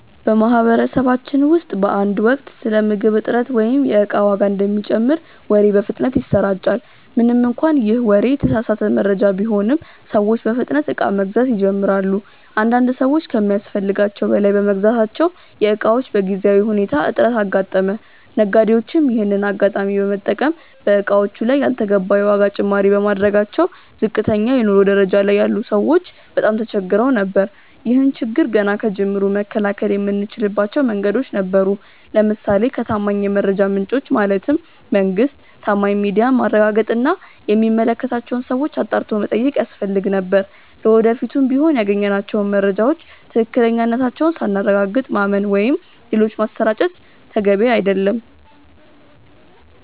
በማህበረሰባችን ውስጥ በአንድ ወቅት ስለ ምግብ እጥረት ወይም የእቃ ዋጋ እንደሚጨምር ወሬ በፍጥነት ይሰራጫል። ምንም እንኳን ይህ ወሬ የተሳሳተ መረጃ ቢሆንም፤ ሰዎች በፍጥነት እቃ መግዛት ይጀምራሉ። አንዳንድ ሰዎች ከሚያስፈልጋቸው በላይ በመግዛታቸው የእቃዎች በጊዜያዊ ሁኔታ እጥረት አጋጠመ። ነጋዴዎችም ይሄንን አጋጣሚ በመጠቀም በእቃዎቹ ላይ ያልተገባ የዋጋ ጭማሪ በማድረጋቸው ዝቅተኛ የኑሮ ደረጃ ላይ ያሉ ሰዎች በጣም ተቸግረው ነበር። ይህን ችግር ገና ከጅምሩ መከላከል የምንችልባቸው መንገዶች ነበሩ። ለምሳሌ ከታማኝ የመረጃ ምንጮች (መንግስት፣ ታማኝ ሚዲያ)ማረጋገጥ እና የሚመለከታቸውን ሰዎች አጣርቶ መጠየቅ ያስፈልግ ነበር። ለወደፊቱም ቢሆን ያገኘናቸውን መረጃዎች ትክክለኛነታቸውን ሳናረጋግጥ ማመን ወይም ሌሎች ማሰራጨት ተገቢ አይደለም።